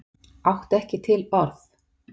Átti ekki til orð.